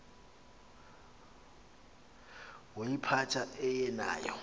woyiphatha aye nayo